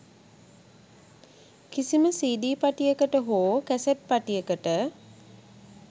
කිසිම සීඩී පටියකට හෝ කැසට් පටියකට